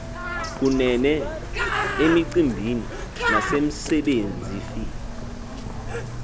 kunene emicimbini nasemsebenzifi